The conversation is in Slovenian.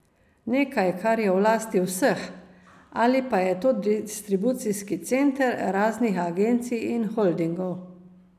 Nekaj, kar je v lasti vseh, ali pa je to distribucijski center raznih agencij in holdingov?